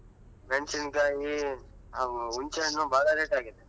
ಮೆಣಸಿನ್ಕಾಯಿ , ಹುಂಚ್ಚೆಹಣ್ಣು ಭಾಳ rate ಆಗಿದೆ.